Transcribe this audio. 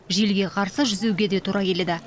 желге қарсы жүзуге де тура келеді